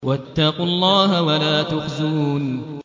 وَاتَّقُوا اللَّهَ وَلَا تُخْزُونِ